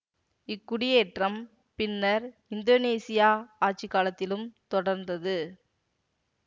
இக்குடியேற்றம் பின்னர் இந்தோனீசியா ஆட்சி காலத்திலும் தொடர்ந்தது